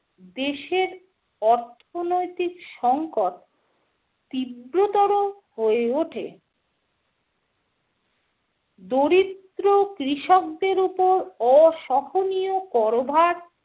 দেশের অর্থনৈতিক সংকট তীব্রতর হয়ে ওঠে। দরিদ্র কৃষকদের উপর অসহনীয় কর ভার